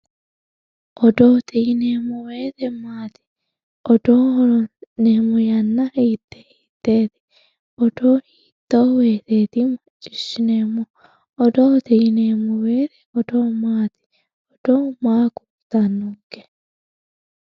odoote yineemmo woyte maati? odoo hasi'neemmo yanna hiittee hiitteeti? odoo hiitto woyteeti macciishhsineemmohu? odoote yineemmowoyte odoo maati? odoo maa kultannonke?